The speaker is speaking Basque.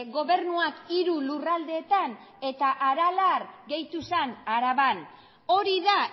gobernuak hiru lurraldeetan eta aralar gehitu zen araban hori da